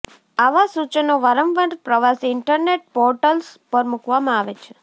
આવા સૂચનો વારંવાર પ્રવાસી ઈન્ટરનેટ પોર્ટલ્સ પર મૂકવામાં આવે છે